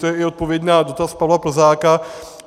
To je i odpověď na dotaz Pavla Plzáka.